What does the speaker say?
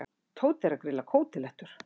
Tóti er að grilla kótilettur.